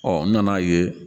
n nana ye